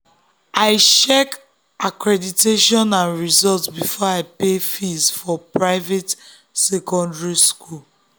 i check accreditation and results before i pay fees for private secondary school.